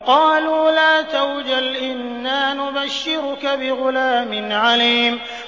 قَالُوا لَا تَوْجَلْ إِنَّا نُبَشِّرُكَ بِغُلَامٍ عَلِيمٍ